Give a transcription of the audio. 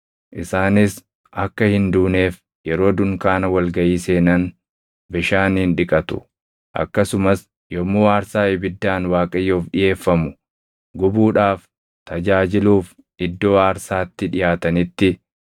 Isaanis akka hin duuneef yeroo dunkaana wal gaʼii seenan bishaaniin dhiqatu; akkasumas yommuu aarsaa ibiddaan Waaqayyoof dhiʼeeffamu gubuudhaaf tajaajiluuf iddoo aarsaatti dhiʼaatanitti,